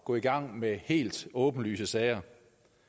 gå i gang med helt åbenlyst formålsløse sager